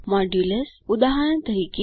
modulus ઉદાહરણ તરીકે